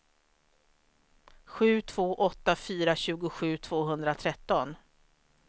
sju två åtta fyra tjugosju tvåhundratretton